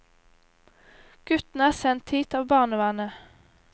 Guttene er sendt hit av barnevernet.